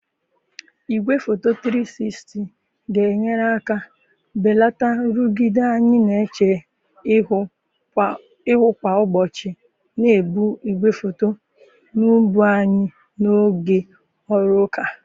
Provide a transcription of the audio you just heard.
Igwefoto 360 ga-enyere aka belata nrụgide anyị na-eche ihu kwa ụbọchị na-ebu igwefoto n'ubu anyị n'oge ọrụ ụka